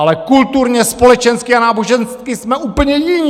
Ale kulturně, společensky a nábožensky jsme úplně jiní!